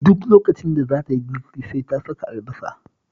Duk lokacin da za ta yi girki sai ta saka albasa